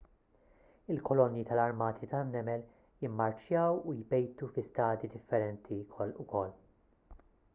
il-kolonji tal-armati tan-nemel jimmarċjaw u jbejtu fi stadji differenti wkoll